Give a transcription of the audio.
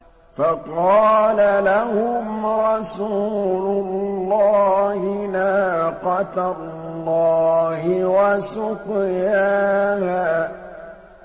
فَقَالَ لَهُمْ رَسُولُ اللَّهِ نَاقَةَ اللَّهِ وَسُقْيَاهَا